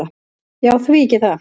"""Já, því ekki það."""